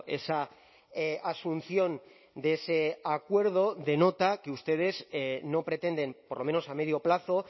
esa asunción de ese acuerdo denota que ustedes no pretenden por lo menos a medio plazo